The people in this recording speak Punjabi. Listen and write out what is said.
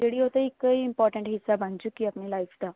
ਉਹ ਤਾਂ ਇੱਕ important ਹਿੱਸਾ ਬਣ ਚੁੱਕੀ ਹੈ life ਦਾ